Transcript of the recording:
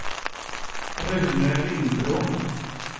Rune Lindblom